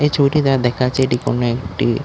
এই ছবিটিতে আর দেখা যাচ্ছে এটি কোন একটি--